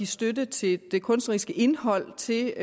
støtte til det kunstneriske indhold til